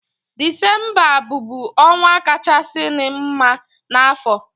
Disembabụ ọnwa kachasịri m mma n'afọ